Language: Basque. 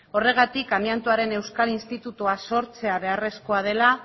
horregatik amiantoaren euskal institutua sortzea beharrezkoa dela